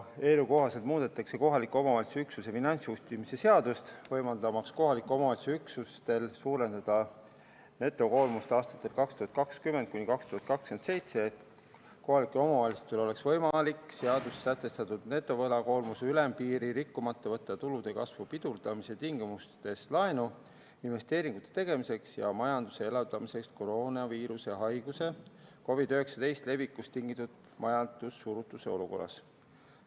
Selle kohaselt muudetakse kohaliku omavalitsuse üksuse finantsjuhtimise seadust, võimaldamaks kohaliku omavalitsuse üksustel suurendada netovõlakoormust aastatel 2020–2027, et kohalikel omavalitsustel oleks võimalik seaduses sätestatud netovõlakoormuse ülempiiri rikkumata võtta tulude kasvu pidurdumise tingimustes laenu investeeringute tegemiseks ja majanduse elavdamiseks koroonaviiruse haiguse COVID-19 levikust tingitud majandussurutise olukorras.